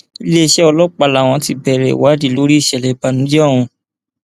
iléeṣẹ ọlọpàá làwọn ti bẹrẹ ìwádìí lórí ìṣẹlẹ ìbànújẹ ọhún